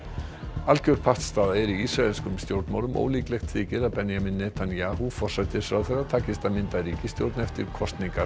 algjör pattstaða er í ísraelskum stjórnmálum ólíklegt þykir að Benjamín Netanyahu forsætisráðherra takist að mynda ríkisstjórn eftir kosningarnar